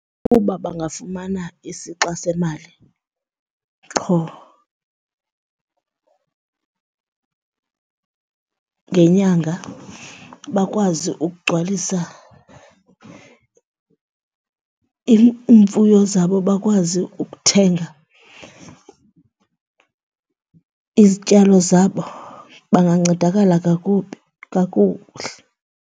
Uba bangafumana isixa semali qho ngenyanga bakwazi ukugcwalisa iimfuyo zabo, bakwazi ukuthenga izityalo zabo bangancedakala kakubi, kakuhle.